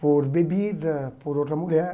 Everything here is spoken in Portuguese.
Por bebida, por outra mulher.